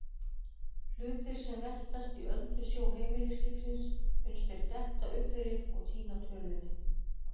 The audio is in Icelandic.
Hlutir sem veltast í öldusjó heimilislífsins uns þeir detta upp fyrir og týna tölunni.